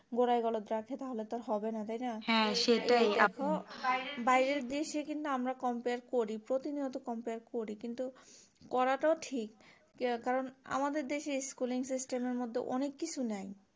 গোড়ায় গলদ যা আছে তো হবেনা তাইনা বাইরের দেশ আমরা compare করি প্রতিনিয়ত compare করি কিন্তু করাটাও ঠিক কারণ আমাদের দেশ এ schooling system এর মধ্যে অনেক কিছু নাই